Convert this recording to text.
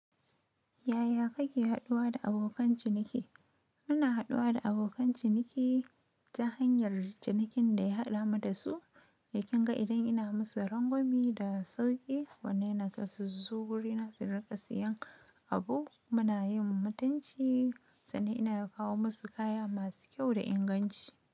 Yaya kake haɗuwa da abokan ciniki? Ina haɗuwa da abokan ciniki ta hanyar cinikin da ya haɗa mu da su, to kin ga idan ina musu rangwame da sauƙi, wannan yana sa su zo guri na su riƙa siyan abu, muna yin mutunci, sannan ina ya kawo musu kaya masu kyau da inganci.